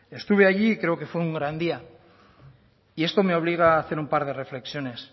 estuve allí y creo que fue un gran día y esto me obliga a hacer un par de reflexiones